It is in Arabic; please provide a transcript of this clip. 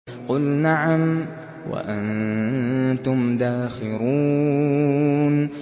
قُلْ نَعَمْ وَأَنتُمْ دَاخِرُونَ